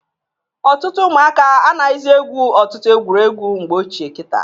Ọtụtụ ụmụaka anaghịzị egwu ọtụtụ egwuregwu egwuru mgbe ochie kịta.